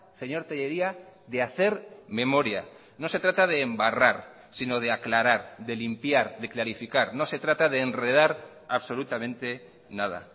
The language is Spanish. señor tellería de hacer memoria no se trata de embarrar sino de aclarar de limpiar de clarificar no se trata de enredar absolutamente nada